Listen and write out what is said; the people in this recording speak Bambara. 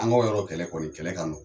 An ka yɔrɔ kɛlɛ kɔni kɛlɛ ka nɔgɔn